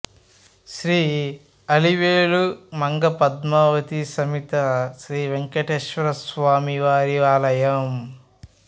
శ్రీ అలివేలు మంగ పద్మావాతీ సమేత శ్రీ వేంకటేశ్వరస్వామివారి ఆలయం